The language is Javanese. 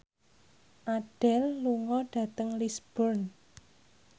Adele lunga dhateng Lisburn